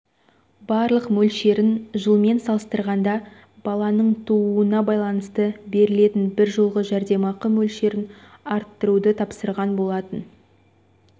барлық мөлшерін жылмен салыстырғанда баланың тууына байланысты берілетін бір жолғы жәрдемақы мөлшерін арттыруды тапсырған болатын